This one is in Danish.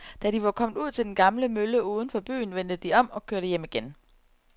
Da de var kommet ud til den gamle mølle uden for byen, vendte de om og kørte hjem igen.